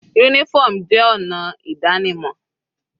Uniform jẹ́ ọ̀nà ìdánimọ̀